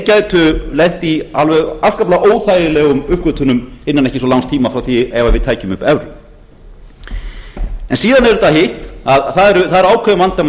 gætu lent í afskaplega óþægilegum uppgötvunum innan ekki svo langs tíma frá því ef við tækjum upp evru síðan er auðvitað hitt að það eru ákveðin vandamál